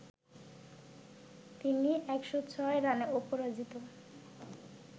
তিনি ১০৬ রানে অপরাজিত